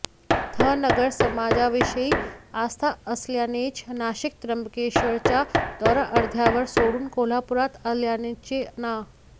धनगर समाजाविषयी आस्था असल्यानेच नाशिक त्र्यंबकेश्वरचा दौरा अर्ध्यावर सोडून कोल्हापुरात आल्याचे ना